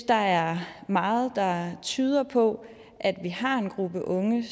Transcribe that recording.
der er meget der tyder på at vi har en gruppe unge